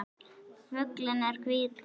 Fuglinn er hvítur.